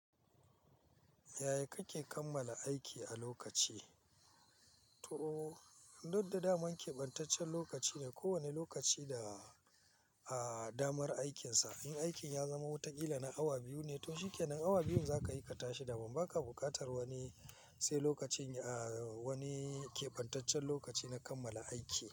Yaya kake kammala aiki a lokaci? To, duk da daman keɓantaccen lokaci ne, kowane lokaci da, ah, damar aikinsa. In aikin ya zama wata kila na awa biyu ne, to shikenan awa biyun zaka aikata shi da ba ma ka buƙatar wani sai lokacin, ah, wani keɓantaccen lokaci na kammala aiki.